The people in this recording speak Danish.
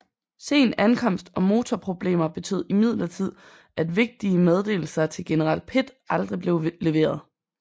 Sen ankomst og motorproblemer betød imidlertid at vigtige meddelelser til general Pitt aldrig blev leveret